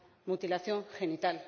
mutilación genital.